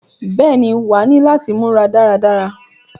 Bẹ́ẹ̀ ni, wàá ní láti múra dára dára.